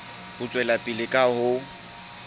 ho tswela pele ka ho